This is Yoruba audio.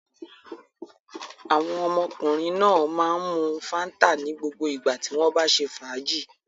Àwọn ọmọkùnrin náà máa ń mu Fanta ní gbogbo ìgbà tí wọ́n bá ṣe fàájì.